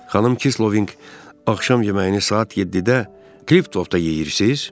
Xanım Kissolving axşam yeməyini saat 7-də Kliftovda yeyirsiz?